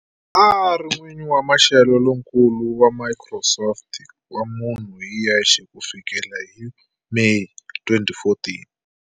A a ri n'wini wa maxavelo lonkulu wa Microsoft wa munhu hi yexe ku fikela hi May 2014.